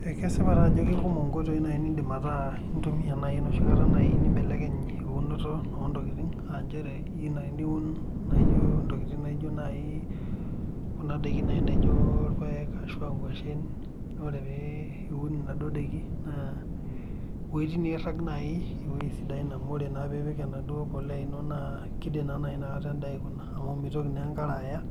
Ekesipa taa ajo ekekumok inkoitoi nai niindima ataa intumiya nai noshi kata nai nimbelekeny eunoto ontokitin aainchere iyeu nai niun naijo intokitin naijo nai kuna ndaiki nai naijo irpaek ashu aa inkoshen, naaku ore pee iun enaduo indaiki naa wuejitin naira nai ewueji sidain amu ore naa piipik enaduo impolea inonok naa keidim nai inakata nintai kuna amu meitoki naa enkare aya